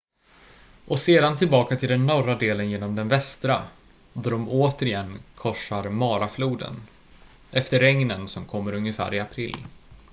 och sedan tillbaka till den norra delen genom den västra då de återigen korsar marafloden efter regnen som kommer ungefär i april